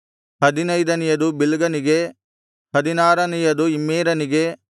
ಹದಿನೈದನೆಯದು ಬಿಲ್ಗನಿಗೆ ಹದಿನಾರನೆಯದು ಇಮ್ಮೇರನಿಗೆ